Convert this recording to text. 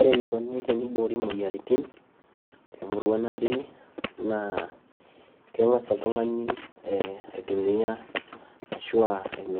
Ore enikoni teniboori emoyiaritin temurua natii naa ee keng'as oltung'ani aitumiya